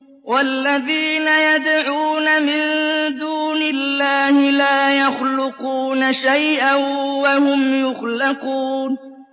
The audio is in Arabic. وَالَّذِينَ يَدْعُونَ مِن دُونِ اللَّهِ لَا يَخْلُقُونَ شَيْئًا وَهُمْ يُخْلَقُونَ